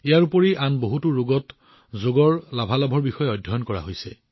এইবোৰৰ উপৰিও আন বহুতো ৰোগত যোগৰ লাভালাভ সম্পৰ্কে অধ্যয়ন কৰা হৈছে